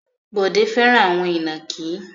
Bọ̀dé fẹ́ràn àwọn ìnàkí.